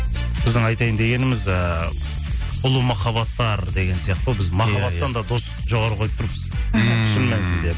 біздің айтайын дегеніміз ыыы ұлы махаббаттар деген сияқты ғой біз махаббаттан да достықты жоғары қойып тұрмыз ммм шын мәнісінде